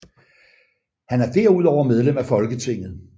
Han er derudover medlem af Folketinget